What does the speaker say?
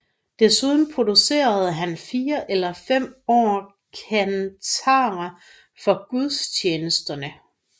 Desuden producerede han fire eller fem år kantater for gudstjenesterne